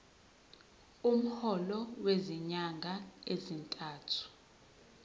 umholo wezinyanga ezintathu